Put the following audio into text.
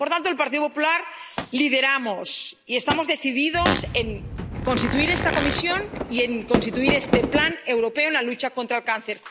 Por tanto, en el Partido Popular lideramos y estamos decididos en constituir esta comisión y en poner en marcha este Plan Europeo de Lucha contra el Cáncer.